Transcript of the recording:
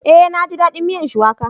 Eh naji dadin miyar Shuwaka